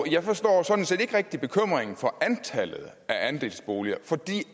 jeg forstår sådan set ikke rigtig bekymringen for antallet af andelsboliger for det